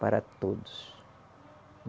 Para todos.